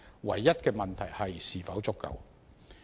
唯一的問題是，這是否足夠？